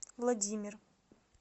владимир